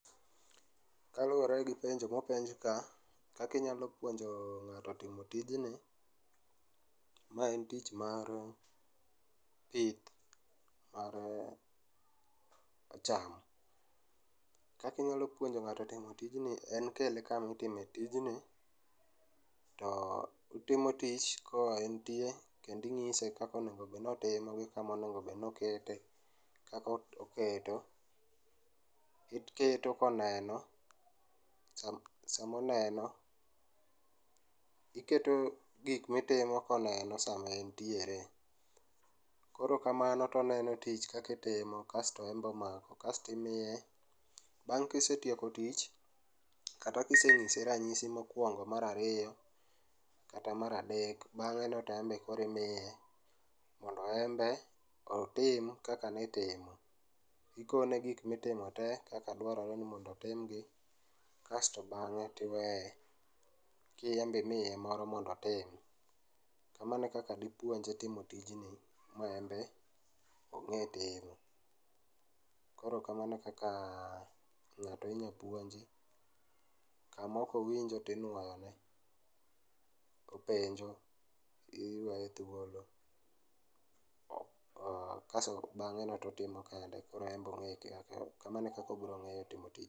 Kaluore gi penjo mopenj ka, kaka inyalo puonjo ng'ato timo tijni, ma en tich mar pith mar cham. Kakinyalo puonjo ng'ato timo tijni en kele kama itime tijni to otimo tich ka entie kendo inyise kaka onego obed ni otimo ong'e kama onego obed ni okete, kaka oketo, iketo koneno sama, sama oneno. Iketo gik mitimo koneno sama entiere. Koro kamano toneno tich kaka itimo kasto en be omako kasto imiye, bang' kisetieko tich kata kisenyise ranyisi mokuongo, mar ariyo kata mar adek, bang'e no to en be koro imiye mondo en be otim kaka nitimo. Ikone gik mitimo tee kaka dwarore ni mondo otim gi kasto bang'e tiweye ka en be imiye moro mondo otim. Kamanao ekaka dipuonje timo tijni ma en be ong'e timo. Koro kamano e kaka ng'ato inyal puonji kama ok owinjo to inouyo ne ,openjo, iweye thuolo, aah kasto bang'e no to otimo kende koro en be ongeyo kamano ekaka obiro nge'yo timo tijni